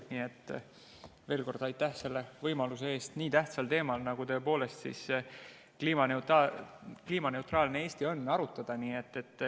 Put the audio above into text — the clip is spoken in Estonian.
Nii et veel kord aitäh selle võimaluse eest nii tähtsal teemal, nagu kliimaneutraalne Eesti on, arutada.